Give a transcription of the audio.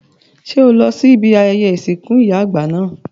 Ṣé o lọ sí ibi ayẹyẹ ìsìnkú ìyá àgbà náà?